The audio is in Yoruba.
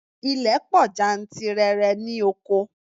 Ilẹ̀ pọ̀ jantirẹrẹ ní oko.